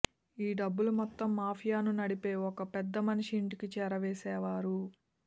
ఈ డబ్బులు మొత్తం మాఫియాను నడిపే ఓ పెద్దమనిషి ఇంటికి చేరవేసేవారు